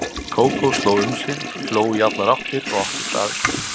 Kókó sló um sig, hló í allar áttir og átti staðinn.